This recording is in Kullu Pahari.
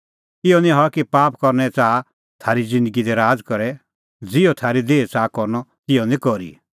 इहअ निं हआ कि पाप करने च़ाहा थारी ज़िन्दगी दी राज़ करे ज़िहअ थारी देही च़ाहा करनअ तिहअ निं करी